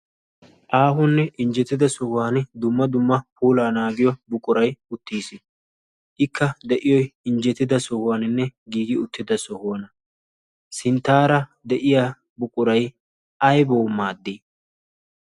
Aahonne injjetida sohuwan dumma dumma puulaa naagiyo buquray uttiis. Ikka de'iyoy injjetida sohuwaaninne giigi uttida sohuwana. Sinttaara de'iya buquray aybaa maaddi?